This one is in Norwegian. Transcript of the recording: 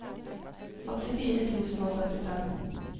åttifire tusen og syttifem